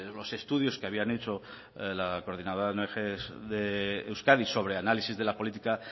los estudios que habían hecho la coordinadora de ong de euskadi sobre análisis de la política